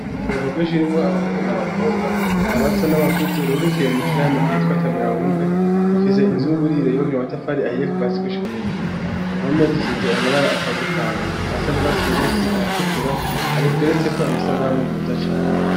Ngo aruka rwinshi rimwo abahungu n'abakobwa abato n'abakuzi rurikiye mu inshirahamwe gitwatamira wumve rufise inzu y'uburiro yobagire amatafari ahiye kuvasigushika hejuru impomezi siza amabara atandukanye asa n' urwa surubisi aratukura argeretseko amasan'amumeza cane.